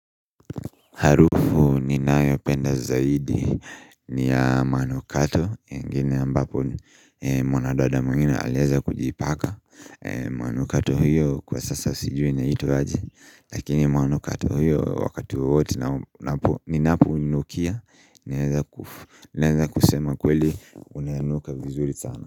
Harufu ninayopenda zaidi ni ya manukato ingine ambayo mwanadada mwengine alieza kujipaka manukato hiyo kwa sasa sijui inaitwa aje lakini manukato hiyo wakati wowote ninapounukia Naeza kusema kweli unanuka vizuri sana.